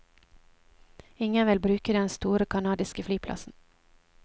Ingen vil bruke den store canadiske flyplassen.